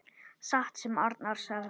Satt sem Arnar sagði.